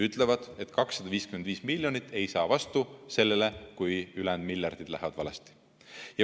Ütlevad, et 255 miljonit ei saa vastu sellele, kui ülejäänud miljardid lähevad valesti.